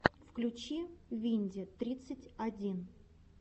включи винди тридцать один